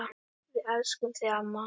Við elskum þig, amma.